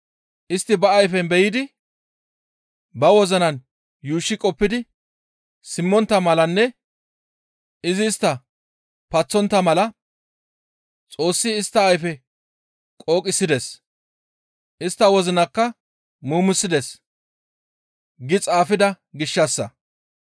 «Istti ba ayfen be7idi, ba wozinan yuushshi qoppidi, simmontta malanne izi istta paththontta mala Xoossi istta ayfe qooqisides; istta wozinakka muumisides» gi xaafida gishshassa.